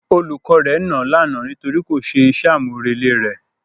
Olùkọ́ rẹ̀ nàá lánàá nítorí kò ṣe iṣẹ́ àmúrelé rẹ̀.